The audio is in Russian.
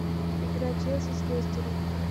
игра челси с лестером